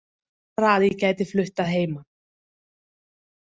Bara að ég gæti flutt að heiman